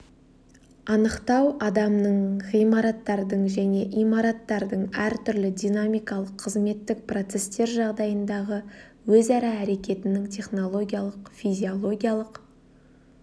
анықтау адамның ғимараттардың және имараттардың әртүрлі динамикалық қызметтік процестер жағдайындағы өзара әрекетінің технологиялық физиологиялық